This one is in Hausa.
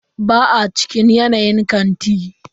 Ba a cinikin kayan kanti.